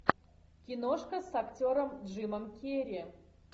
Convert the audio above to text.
киношка с актером джимом керри